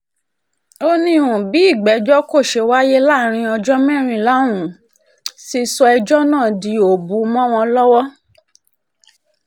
ó ní um bí ìgbẹ́jọ́ kò ṣe wáyé láàrin ọjọ́ mẹ́rìnlá ọ̀hún ti sọ ẹjọ́ náà di um òbù mọ́ wọn lọ́wọ́